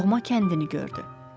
Doğma kəndini gördü.